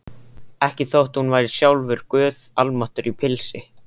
Ekki þótt hún væri sjálfur guð almáttugur í pilsi.